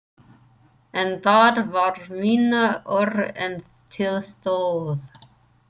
En það varð minna úr en til stóð.